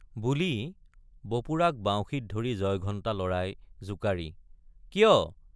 বুলি বপুৰাক বাউসীত ধৰি জয়ঘণ্টা লৰাই জোঁকাৰি কিয়?